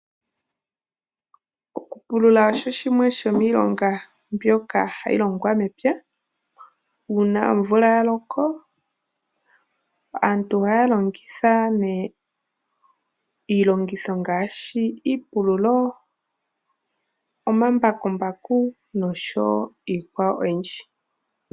Okupulula osho shimwe shomiilonga hayi longwa mepya. Uuna omvula ya loko aantu h=ohaya longitha iilongitho ngaashi iipululo, omambakumbaku noshowo iikwawo oyindji.